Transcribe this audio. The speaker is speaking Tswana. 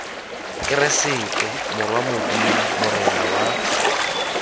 keresete morwa modimo morena wa